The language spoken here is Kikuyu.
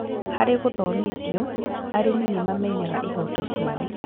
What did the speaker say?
Harĩ gũthomithio, arĩmi nĩmamenyaga ihoto ciao